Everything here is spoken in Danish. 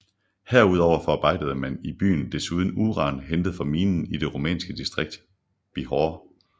Herudover forarbejdede man i byen desuden uran hentet fra minen i det rumænske distrikt Bihor